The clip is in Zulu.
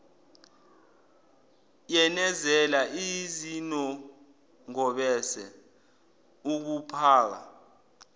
yenezela izinongobese ukuphaka